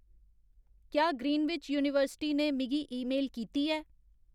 क्या Greenwich University ने मिगी ईमेल कीती ऐ